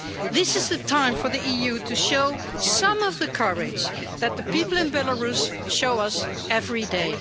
This is the time for the EU to show some of the courage that the people in Belarus show us every day.